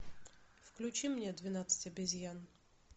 включи мне двенадцать обезьян